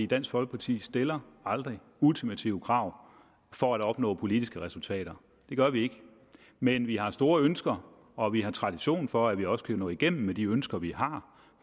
dansk folkeparti stiller aldrig ultimative krav for at opnå politiske resultater det gør vi ikke men vi har store ønsker og vi har tradition for at vi også kan nå igennem med de ønsker vi har